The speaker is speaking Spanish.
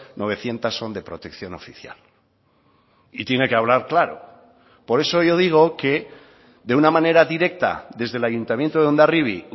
novecientos son de protección oficial y tiene que hablar claro por eso yo digo que de una manera directa desde el ayuntamiento de hondarribia